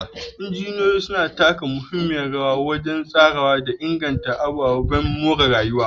Injiniyoyin suna taka muhimmiyar rawa wajen tsarawa da inganta ababen more rayuwa.